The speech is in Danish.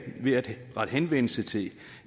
ved at rette henvendelse til